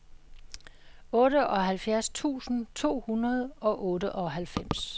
otteoghalvfjerds tusind to hundrede og otteoghalvfems